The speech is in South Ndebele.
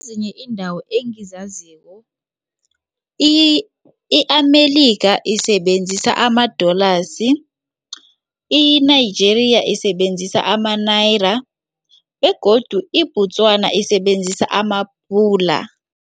Ezinye iindawo engizaziko i-Amerika isebenzisa ama-Dollars, i-Nigeria isebenzisa ama-Niara begodu iBotswana isebenzisa amaPula.